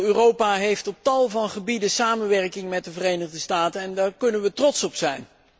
Europa heeft op tal van gebieden samenwerking met de Verenigde Staten en daar kunnen wij trots op zijn.